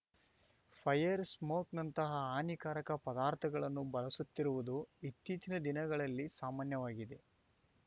fire ಸ್ಮೋಕ್‌ನಂತಹ ಹಾನಿಕಾರಕ ಪದಾರ್ಥಗಳನ್ನು ಬಳಸುತ್ತಿರುವುದು ಇತ್ತೀಚಿನ ದಿನಗಳಲ್ಲಿ ಸಾಮಾನ್ಯವಾಗಿದೆ